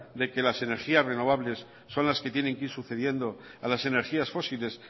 de que las energías renovables son las que tienen que ir sucediendo a las energías fósiles